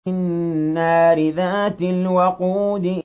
النَّارِ ذَاتِ الْوَقُودِ